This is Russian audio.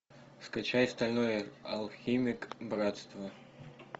скачай стальной алхимик братство